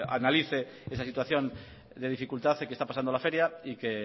analice esa situación de dificultad que está pasando la feria y que